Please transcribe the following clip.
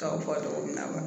Kaw bɔ togo min na